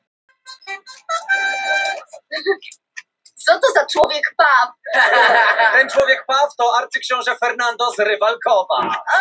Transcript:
Frumskógar jarðar fara ört minnkandi en árlega verður umtalsverð rýrnun á þeim vegna skógarhöggs.